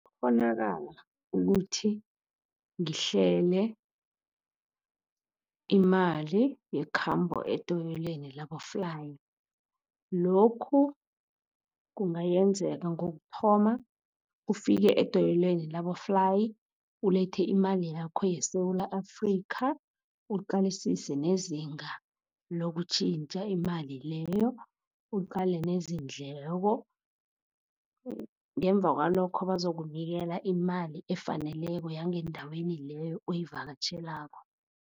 ukuthi ngihlele imali yekhambo edoyelweni laboflayi. Lokhu kungayenzeka ngokuthoma ufike edoyelweni laboflayi, ulethe imali yakho yeSewula Afrika, uqalisise nezinga lokutjhintjha imali leyo, uqale neendleko, ngemuva kwalokho bazokunikela imali efaneleko yangendaweni leyo oyivakatjhelako.